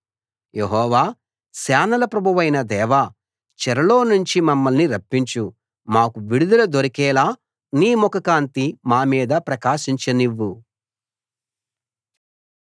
యెహోవా సేనల ప్రభువైన దేవా చెరలో నుంచి మమ్మల్ని రప్పించు మాకు విడుదల దొరికేలా నీ ముఖకాంతి మా మీద ప్రకాశించ నివ్వు